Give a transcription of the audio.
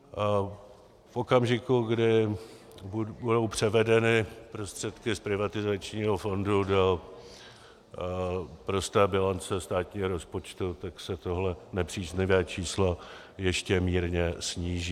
V okamžiku, kdy budou převedeny prostředky z privatizačního fondu do prosté bilance státního rozpočtu, tak se tohle nepříznivé číslo ještě mírně sníží.